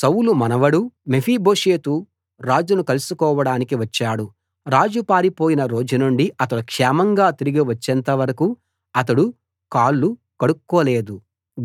సౌలు మనవడు మెఫీబోషెతు రాజును కలుసుకోవడానికి వచ్చాడు రాజు పారిపోయిన రోజునుండి అతడు క్షేమంగా తిరిగి వచ్చేంత వరకూ అతడు కాళ్లు కడుక్కోలేదు